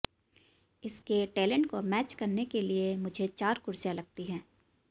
इसके टैलेंट को मैच करने के लिए मुझे चार कुर्सियां लगती हैं